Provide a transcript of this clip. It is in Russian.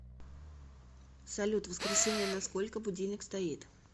салют в воскресенье на сколько будильник стоит